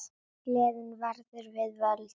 Gleðin verður við völd.